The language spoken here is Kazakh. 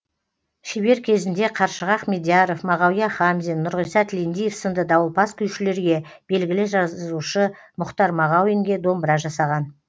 шебер кезінде қаршыға ахмедияров мағауия хамзин нұрғиса тілендиев сынды дауылпаз күйшілерге белгілі жазушы мұхтар мағауинге домбыра жасаған